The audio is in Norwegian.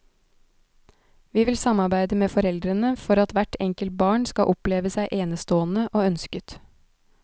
Vi vil samarbeide med foreldrene for at hvert enkelt barn skal oppleve seg enestående og ønsket.